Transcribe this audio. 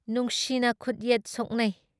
ꯅꯨꯡꯁꯤꯅ ꯈꯨꯠ ꯌꯦꯠ ꯁꯣꯛꯅꯩ ꯫